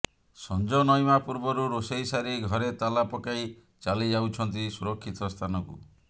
ସଞ୍ଜ ନଇଁବା ପୂର୍ବରୁ ରୋଷେଇ ସାରି ଘରେ ତାଲା ପକାଇ ଚାଲି ଯାଉଛନ୍ତି ସୁରକ୍ଷିତ ସ୍ଥାନକୁ